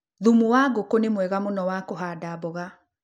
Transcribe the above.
Thumu wa ngũkũ ni mwega mũno wa kũhanda mboga.